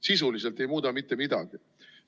Sisuliselt ei muuda mitte midagi.